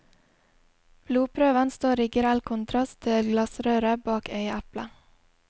Blodprøven står i grell kontrast til glassrøret bak øyeeplet.